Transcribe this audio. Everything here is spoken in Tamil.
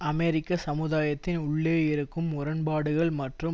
அமெரிக்க சமுதாயத்தின் உள்ளே இருக்கும் முரண்பாடுகள் மற்றும்